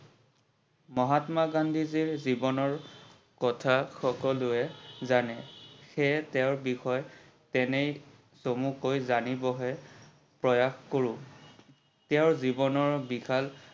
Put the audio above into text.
মহাত্মা গান্ধীজিৰ জীৱনৰ কথা সকলোয়ে জানে সেয়ে তেওৰ বিষয়ে এনেই চমুকে জানিবহে প্ৰয়াশ কৰো। তেওৰ জীৱনৰ বিশাল